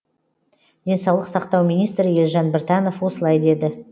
денсаулық сақтау министрі елжан біртанов осылай деді